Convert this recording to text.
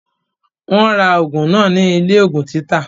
Wọ́n ra ògùn náà ní ilé ògùn títà